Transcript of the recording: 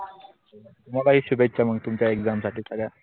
मग ही शुभेच्छा तुमच्या exam साठी सगळ्या.